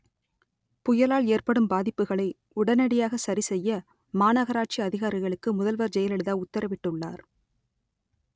புயலா‌ல் ஏ‌ற்படு‌ம் பா‌தி‌ப்புகளை உடனடியாக ச‌ரி செ‌ய்ய மாநகரா‌ட்‌சி அ‌திகா‌ரிக‌ளு‌க்கு முத‌ல்வ‌ர் ஜெயல‌லிதா உ‌த்தர‌வி‌ட்டு‌ள்ளா‌ர்